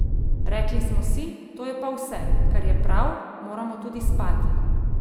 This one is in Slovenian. Rekli smo si, to je pa vse, kar je prav, moramo tudi spati!